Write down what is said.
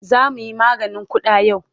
Za mu yi maganin ƙuda yau.